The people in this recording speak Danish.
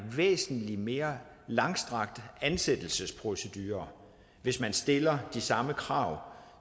væsentlig mere langstrakt ansættelsesprocedure hvis man stiller de samme krav